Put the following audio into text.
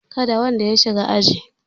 Kada wanda ya shiga aji!